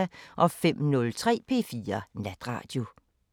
05:03: P4 Natradio